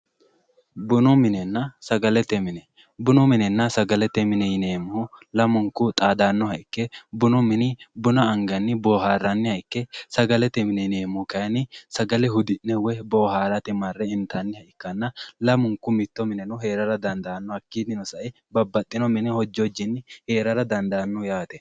Bunu minenna sagalete mine, bunu minenna sagalete mine yineemmohu lamunku xaadanoha ikke bunu mini buna anganni booharaniha ikke sagalete mine yineemmohu kayinni sagale hudi'ne woyi booharate marre intanni ikkanna lamunku mitto mineno heeraha ikka dandaano hakkinino sae babbaxino mine hoji hojinni heerara dandaano.